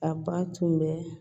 A ba tun bɛ